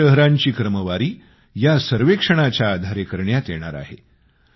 स्वच्छ शहरांची क्रमवारी या सर्वेक्षणाच्या आधारे करण्यात येणार आहे